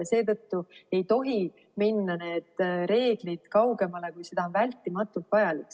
Seetõttu ei tohi minna need reeglid kaugemale, kui see on vältimatult vajalik.